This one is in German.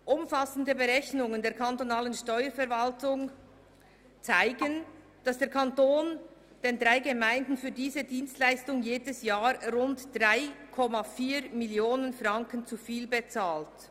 Umfassende Berechnungen der kantonalen Steuerverwaltung zeigen, dass der Kanton den drei Gemeinden für diese Dienstleistung jedes Jahr rund 3,4 Mio. Franken zu viel bezahlt.